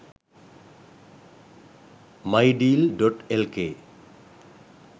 mydeal.lk